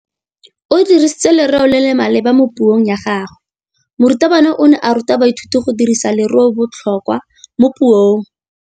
O dirisitse lerêo le le maleba mo puông ya gagwe. Morutabana o ne a ruta baithuti go dirisa lêrêôbotlhôkwa mo puong.